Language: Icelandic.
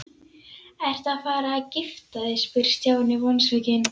Ertu að fara að gifta þig? spurði Stjáni vonsvikinn.